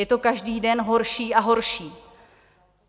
Je to každý den horší a horší.